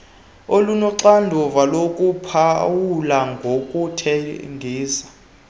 olunoxanduva lokuphawula nokuthengisa